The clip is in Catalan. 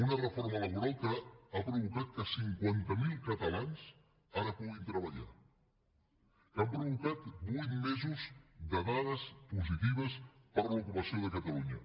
una reforma laboral que ha provocat que cinquanta mil catalans ara puguin treballar que ha provocat vuit mesos de dades positives per a l’ocupació de catalunya